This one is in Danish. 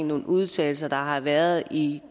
nogle udtalelser der har været i